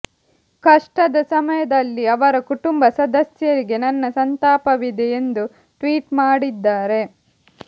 ಕಷ್ಟದ ಸಮಯದಲ್ಲಿ ಅವರ ಕುಟುಂಬ ಸದಸ್ಯರಿಗೆ ನನ್ನ ಸಂತಾಪವಿದೆ ಎಂದು ಟ್ವೀಟ್ ಮಾಡಿದ್ದಾರೆ